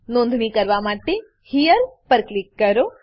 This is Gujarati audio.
નોંધણી કરવા માટે હેરે હિયર પર ક્લિક કરો